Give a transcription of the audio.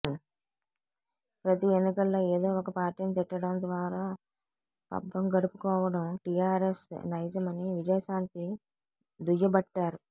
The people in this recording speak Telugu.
ప్రతి ఎన్నికల్లో ఏదో ఒక పార్టీని తిట్టడం ద్వారా పబ్బం గడుపుకోవడం టీఆర్ఎస్ నైజమని విజయశాంతి దుయ్యబట్టారు